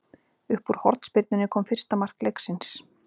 Upp úr hornspyrnunni kom fyrsta mark leiksins.